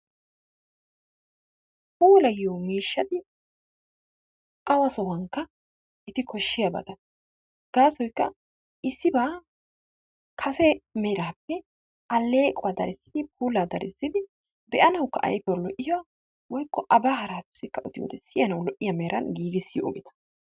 Puulayiyo miishshati awa sohuwankka eti koshshiyabata. Gaasoykka issibaa kase meraappe alleequwa darissidi, puulaa darissidi be'nawukka ayfiyawu lo'iya woykko abaa haraatussikka odiyode siyanawu lo'iya meran giigissiyo ogeta.